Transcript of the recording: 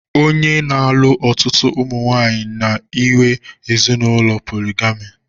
Onye na-alụ ọtụtụ ụmụnwaanyị na-ehiwe ezinụlọ poligami